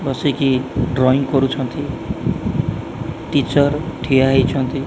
ବସିକି ଡ୍ରଇଂ କରୁଛନ୍ତି ଟିଚର୍ ଠିଆ ହେଇଛନ୍ତି।